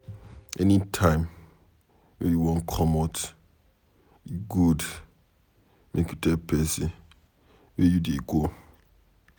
Anytime wey you wan commot, e good make you tell pesin where you dey go.